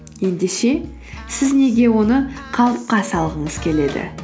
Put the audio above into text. ендеше сіз неге оны қалыпқа салғыңыз келеді